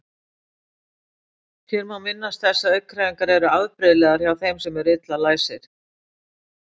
Hér má minnast þess að augnhreyfingar eru afbrigðilegar hjá þeim sem eru illa læsir.